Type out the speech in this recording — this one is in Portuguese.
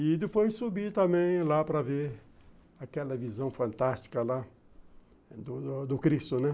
E depois subi também lá para ver aquela visão fantástica lá do do Cristo, né?